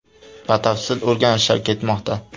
Batafsil o‘rganishlar ketmoqda.